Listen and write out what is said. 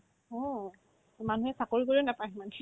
অ', মানুহে চাকৰিও নাপাই সিমানখিনি